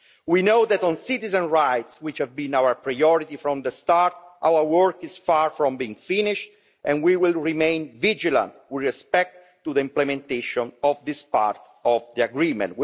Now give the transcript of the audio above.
We know that on citizens' rights, which have been our priority from the start, our work is far from being finished and we will remain vigilant with respect to the implementation of this part of the agreement.